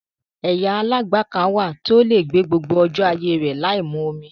Ẹ̀yà aláǹgbá kan wà tó lè gbé gbogbo ọjọ́ ayé rè láìmu omi.